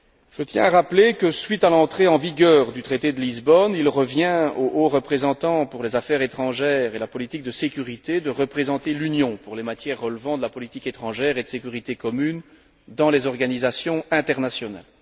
Je tiens à rappeler que, suite à l'entrée en vigueur du traité de Lisbonne, il revient au haut représentant pour les affaires étrangères et la politique de sécurité de représenter l'Union pour les matières relevant de la politique étrangère et de sécurité commune dans les organisations internationales.